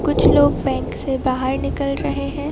कुछ लोग बैंक से बाहर निकल रहे हैं।